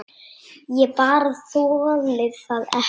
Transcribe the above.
Ég bara þoli það ekki.